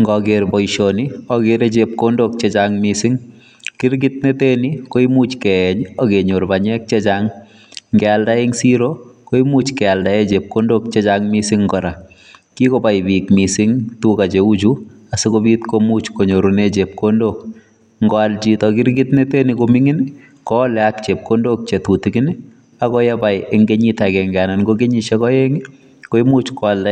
Ngakeer poishonii akeeeere chepkondook chechang mising bngealda eng siroo kenyoruu rapisheek chechang neaaaa ako ngeriip chemengecheen komnyeee kotinyee